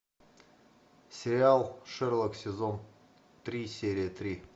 сериал шерлок сезон три серия три